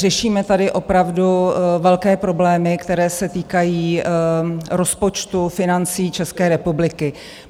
Řešíme tady opravdu velké problémy, které se týkají rozpočtu, financí České republiky.